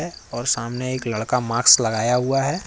और सामने एक लड़का मास्क लगाया हुआ है।